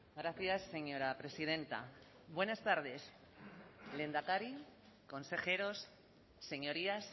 gracias señora presidenta buenas tardes lehendakari consejeros señorías